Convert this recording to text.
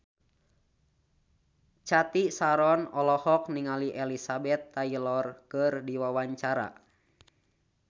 Cathy Sharon olohok ningali Elizabeth Taylor keur diwawancara